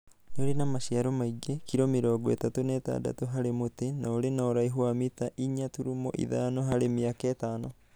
Nĩ ũrĩ maciaro maingĩ (kilo mĩrongo ĩtatu na ĩtandatũ harĩ mũtĩ) na ũrĩ na ũraihu wa mita inya tũrũmo ithano harĩ mĩaka ĩtano.